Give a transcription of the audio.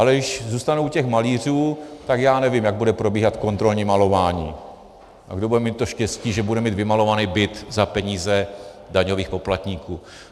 Ale když zůstanu u těch malířů, tak já nevím, jak bude probíhat kontrolní malování a kdo bude mít to štěstí, že bude mít vymalovaný byt za peníze daňových poplatníků.